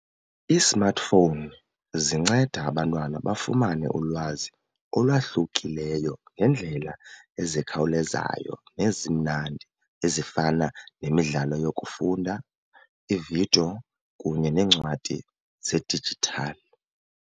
Ii-smartphone zinceda abantwana bafumane ulwazi olwahlukileyo ngeendlela ezikhawulezayo nezimnandi ezifana nemidlalo yokufunda, iividiyo kunye neencwadi zedijithali.